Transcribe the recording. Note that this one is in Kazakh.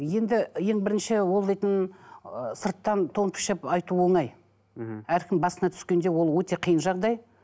енді ең бірінші ол дейтін ы сырттан тон пішіп айту оңай мхм әркімнің басына түскенде ол өте қиын жағдай